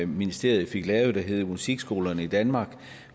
ministeriet fik lavet som hed musikskolerne i danmark